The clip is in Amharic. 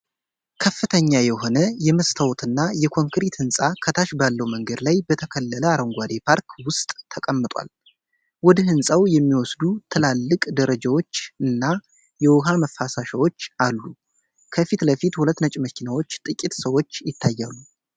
ከፍተኛ የሆነ የመስታወትና የኮንክሪት ሕንፃ ከታች ባለው መንገድ ላይ በተከለለ አረንጓዴ ፓርክ ውስጥ ተቀምጧል። ወደ ህንፃው የሚወስዱ ትላልቅ ደረጃዎችና የውሃ መፋሰሻዎች አሉ። ከፊት ለፊት ሁለት ነጭ መኪኖችና ጥቂት ሰዎች ይታያሉ።